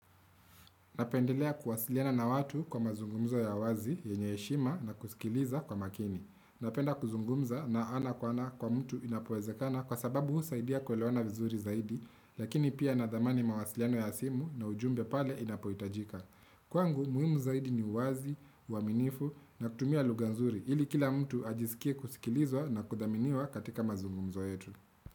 Napendelea kuwasiliana na watu kwa mazungumzo ya wazi, yenye eshima na kusikiliza kwa makini. Napenda kuzungumza na ana kwa ana kwa mtu inapoezekana kwa sababu usaidia kwelewana vizuri zaidi, lakini pia nadhamani mawasiliano ya simu na ujumbe pale inapoitajika. Kwangu, muhimu zaidi ni uwazi, uaminifu na kutumia luganzuri, hili kila mtu ajisikie kusikilizwa na kudhaminiwa katika mazungumzo yetu.